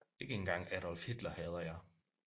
Ikke engang Adolf Hitler hader jeg